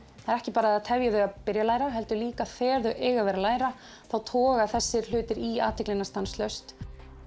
það er ekki bara að það tefji þau að byrja að læra heldur líka þegar þau eiga að vera læra þá toga þessir hlutir í athyglina stanslaust